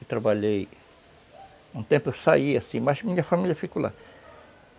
Eu trabalhei... Um tempo eu saí, assim, mas minha família ficou lá.